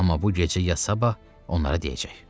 Amma bu gecə ya sabah onlara deyəcək.